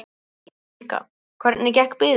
Helga: Hvernig gekk biðin?